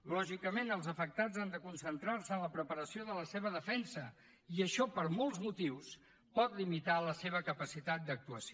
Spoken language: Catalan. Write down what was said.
lògicament els afectats han de concentrar se en la preparació de la seva defensa i això per molts motius pot limitar la seva capacitat d’actuació